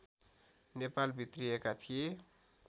नेपाल भित्रिएका थिए